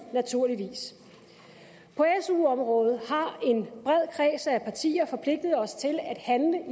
naturligvis på su området har en bred kreds af partier forpligtet os til at handle